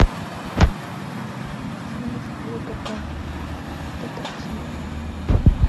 найти фильм стивена спилберга детектив